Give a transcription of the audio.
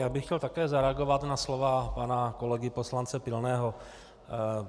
Já bych chtěl také zareagovat na slova pana kolegy poslance Pilného.